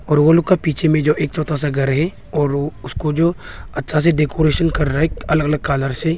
और वो लोग का पीछे में जो एक छोटा सा घर है और वो उसको जो अच्छा से डेकोरेशन कर रहा है अलग अलग कलर से।